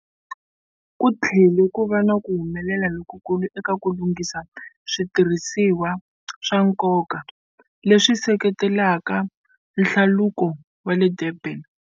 Ku tlhele ku va na ku humelela lokukulu eka ku lunghisa switirhisiwa swa nkoka, leswi seketelaka Nhlaluko wa le Durban.